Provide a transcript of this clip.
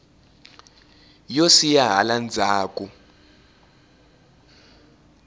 yo siya hala ndzzhaku